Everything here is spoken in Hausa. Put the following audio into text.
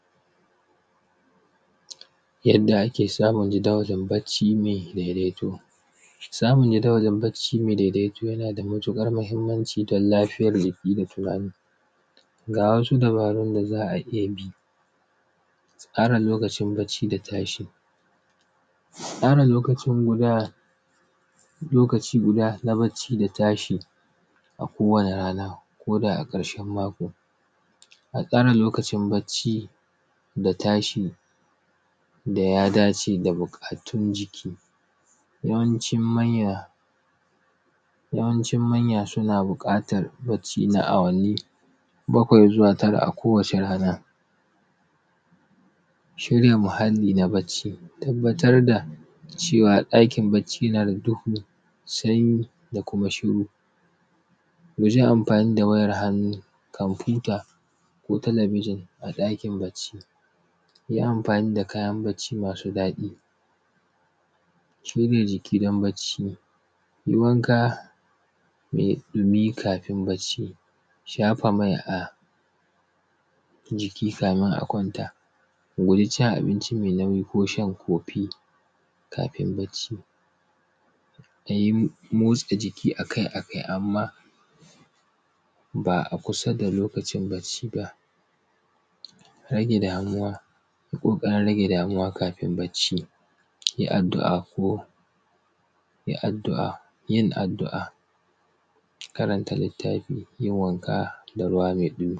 Yadda ake samun jadawalin bacci mai daidaito, samun jadawalin bacci mai daidaito yana da matuƙar muhimmanci don lafiya jiki da tunani. Ga wasu dabarun da za a iya bi, tsara lokacin bacci da tashi, tsara lokaci guda lokaci guda na bacci da tashi a kowane rana koda a ƙarshen mako, a tsara lokacin bacci da tashi da ya dace da buƙatun jiki. Yawancin manya, yawancin manya suna buƙatan lokaci na awanni bakwai zuwa tara a kawane rana. Shirin muhalli na bacci, tabbatar da cewa ɗakin bacci na da duhu, sanyi da kuma shiru, wajen amfani da wayar hannu, komfuta ko talabijin a ɗakin bacci. Yi amfani da kayan bacci masu daɗi, curi jikin dan bacci, yi wanka mai ɗumi kafin bacci. Shafa mai a jiki kafin a kwanta. Ku guji cin abinci mai nauyi ko shan kofi kafin bacci. A yi motsa jiki a kai a kai amma ba kusa da a kusa da lokacin bacci ba. Rage damuwa, kukan rage damuwa kafin bacci. Yi addu’a ko yi addu’a yin addu’a karanta littafi da yin wanka da ruwa mai ɗumi.